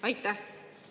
Aitäh!